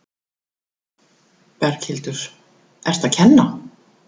Berghildur: Ertu að kenna?